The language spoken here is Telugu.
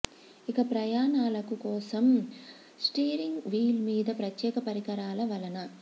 ఇక ప్రయాణాలకు కోసం స్టీరింగ్ వీల్ మీద ప్రత్యేక పరికరాల వలన